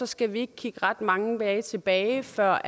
skal vi ikke kigge ret mange dage tilbage før